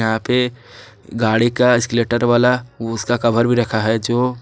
यहाँ पे गाड़ी का एसकेलेटर वाला ओ उसका कवर भी रखा है जो--